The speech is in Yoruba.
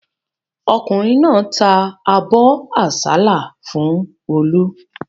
Ọkùnrin náà ta abọ́ àsálà fún Olú.